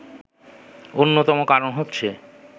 অন্যতম কারণ হচ্ছে